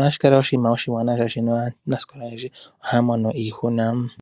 Ohashi kala oshinima oshiwanawa, oshoka aanasikola oyendji ohaya mono iihuna.